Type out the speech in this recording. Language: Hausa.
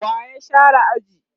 wa ya share aji?